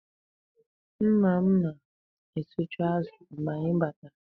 Nna m na-esichu azụ mgbè anyị batara.